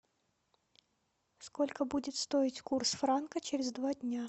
сколько будет стоить курс франка через два дня